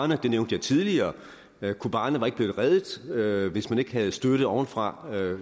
det nævnte jeg tidligere kobane var ikke blevet reddet reddet hvis man ikke havde støttet ovenfra ved